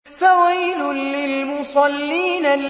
فَوَيْلٌ لِّلْمُصَلِّينَ